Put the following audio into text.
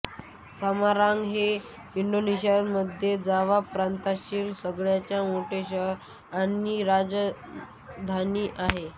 Semarang हे इंडोनेशियाच्या मध्य जावा प्रांतातील सगळ्यात मोठे शहर आणि राजधानी आहे